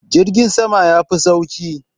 jirgin sama ya Fi sauki